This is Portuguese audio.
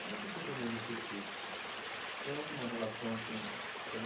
Como você planeja o seu curso? Tem alguma relação com